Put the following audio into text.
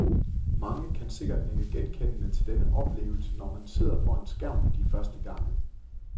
Mange kan sikkert nikke genkendende til denne oplevelse, når man sidder foran skærmen de første gange.